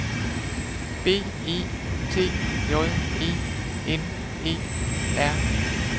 B E T J E N E R